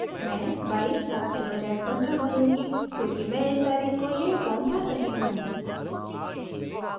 मैं 22/07/2015 भरूँगी क्योंकि मैं इस तारीख़ को यह फॉर्म भर रही हूँ